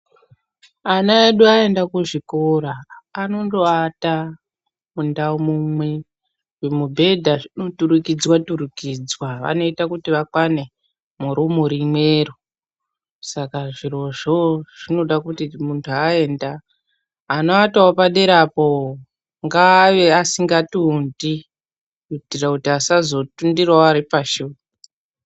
Ana edu aenda kuzvikora anondovata mundau mumwe, zvimubhedha zvinoturikidzwa turikidza , vanoita kuti vakwane muroom rimwero, saka zvirozvo zvinoda kuti muntu aenda anovatavo padera apo ngaave asingatundi kuitira kuti asazotundiravo vari pashi.